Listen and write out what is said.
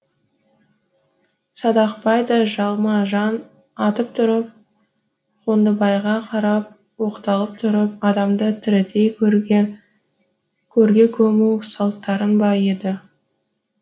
садақбай да жалма жан атып тұрып қондыбайға қарап оқталып тұрып адамды тірідей көрге көму салттарың ба еді